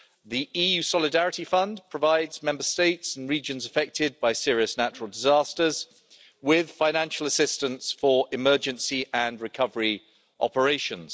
The EU Solidarity Fund provides Member States and regions affected by serious natural disasters with financial assistance for emergency and recovery operations.